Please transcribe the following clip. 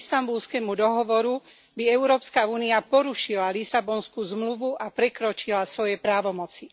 Istanbulskému dohovoru by Európska únia porušila Lisabonskú zmluvu a prekročila svoje právomoci.